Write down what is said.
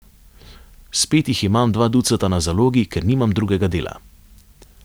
Spet jih imam dva ducata na zalogi, ker nimam drugega dela.